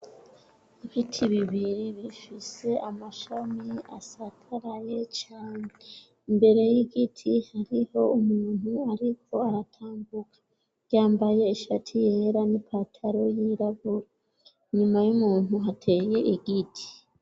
Ibiti bibiri rifise amashami asataraye canje imbere y'igiti hariho umuntu, ariko aratambuka ryambaye ishati yera n'i pataro y'iraburo inyuma y'umuntu hateye igiti.